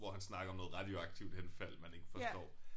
Hvor han snakker om noget radioaktivt henfald man ikke forstår